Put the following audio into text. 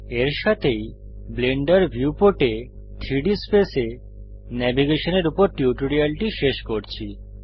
এর সাথেই ব্লেন্ডার ভিউপোর্টে 3ডি স্পেস এ ন্যাভিগেশনের উপর টিউটোরিয়ালটি শেষ করছি